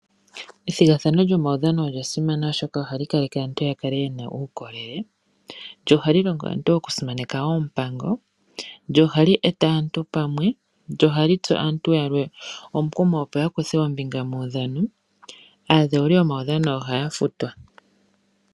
Ethigathano lyomaudhano olya simana, oshoka ohali kaleke aantu ya kale ye na uukolele. Lyo ohali longo aantu okusimaneka oompango. Lyo ohali eta aantu pamwe. Lyo ohali tsu aantu yalwe omukumo, opo ya kuthe ombinga muudhano. Aadhewuli yomaudhano ohaya futwa.